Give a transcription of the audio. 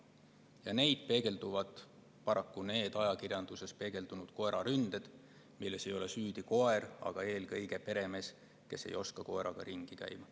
Ja seda peegeldavadki ajakirjanduses kajastatud koeraründed, milles ei ole süüdi koer, vaid eelkõige peremees, kes ei oska oma loomaga ringi käia.